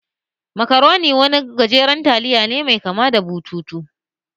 Macaroni wani ɗan gajeren taliya ne mai kama da bututu